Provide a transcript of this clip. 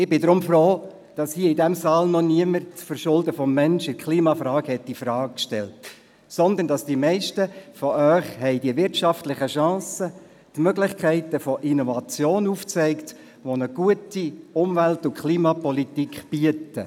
Ich bin froh, dass hier in diesem Saal noch niemand das Verschulden des Menschen in Sachen Klimawandel in Frage gestellt hat, sondern dass die meisten von Ihnen die wirtschaftlichen Chancen, die Möglichkeiten der Innovation sehen, die eine gute Klimapolitik bietet.